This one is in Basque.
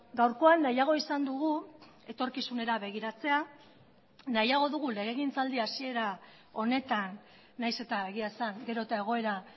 gaurkoan nahiago izan dugu etorkizunera begiratzea nahiago dugu legegintzaldi hasiera honetan nahiz eta egia esan gero eta egoera